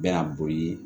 Bɛ na boli